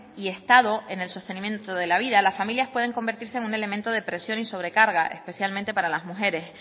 y estado en el sostenimiento de la vida las familias pueden convertirse en un elemento de presión y sobrecarga especialmente para las mujeres